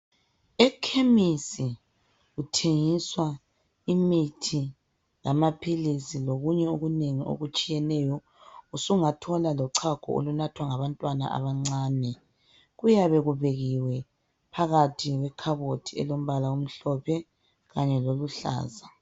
Ekhemisi kuthengiswa imithi lamaphilisi lokunye okunengi okutshiyeneyo sungathola lochago olunathwa ngabantwana abancane kuyabe kubekiwe phakathi kwekhaboti elombala omhlophe kanye loluhlaza